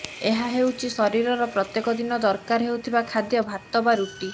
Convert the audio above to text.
ଏହା ହେଉଛି ଶରୀରର ପ୍ରତ୍ୟେକ ଦିନ ଦରକାର ହେଉଥିବା ଖାଦ୍ୟ ଭାତ ବା ରୁଟି